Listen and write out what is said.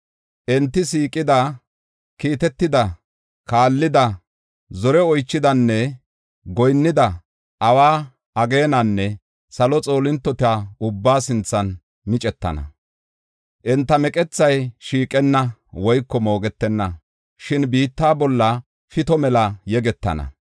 Enti siiqida, kiitetida, kaallida, zore oychidanne goyinnida awa, ageenanne salo xoolintota ubbaa sinthan micetana. Enta meqethay shiiqenna woyko moogetenna; shin biitta bolla pito mela yegetana.